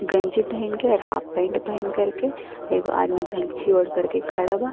गंजी पहिनके और हाफ पाइंट पहिनकर के एगो आदमी गमछी ओढ़कर के खड़ा बा।